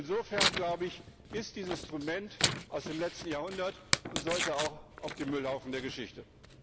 Insofern, glaube ich, ist dieses Instrument aus dem letzten Jahrhundert und sollte auch auf den Müllhaufen der Geschichte.